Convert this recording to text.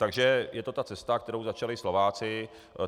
Takže je to ta cesta, kterou začali Slováci.